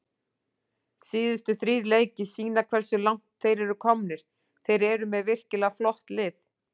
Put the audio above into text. Síðustu þrír leikir sýna hversu langt þeir eru komnir, þeir eru með virkilega flott lið.